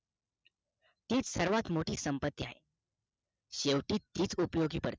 हीच सर्वात मोठी संपत्ती आहे शेवटीहीच उपयोगी पडते